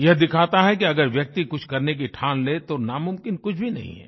यह दिखाता है कि अगर व्यक्ति कुछ करने की ठान ले तो नामुमकिन कुछ भी नहीं है